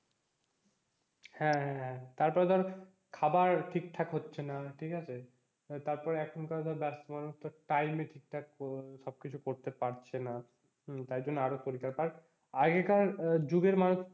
হ্যাঁ হ্যাঁ তারপরে ধর খাবার ঠিকঠাক হচ্ছে না ঠিক আছে, তারপরে এখনকার ধর ব্যস্ত মানুষ তো time এ ঠিক ঠাক সবকিছু করতে পারছে না, হম তাইজন্যে আরও শরীর খারাপ। আর আগেকর যুগের মানুষের,